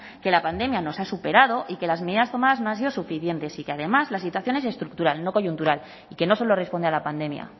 que la pandemia nos ha superado y que las medidas tomadas no han sido suficientes y que además la situación es estructural no coyuntural y que no solo responde a la pandemia